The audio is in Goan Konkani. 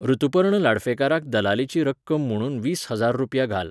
ऋतुपर्ण लाडफेकाराक दलालीची रक्कम म्हुणून वीस हजार रुपया घाल